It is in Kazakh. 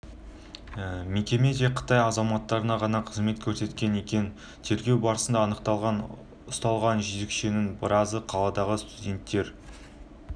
мекеме тек қытай азаматтарына ғана қызмет көрсеткен екен тергеу барысында анықталғандай ұсталған жезөкшенің біразы қаладағы студенттері